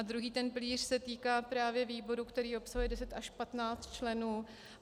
A druhý ten pilíř se týká právě výboru, který obsahuje 10 až 15 členů.